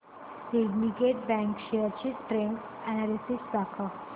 Syndicate Bank shares चे trend analysis दाखव